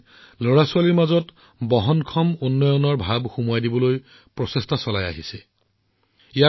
বন্ধুসকল যেতিয়াই স্বচ্ছ ভাৰত আৰু আৱৰ্জনাৰ পৰা সম্পদলৈ ৰূপান্তৰৰ কথা আহে তেতিয়াই আমি দেশৰ চুকেকোণৰ পৰা অগণন উদাহৰণ দেখিবলৈ পাওঁ